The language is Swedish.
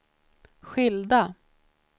skilda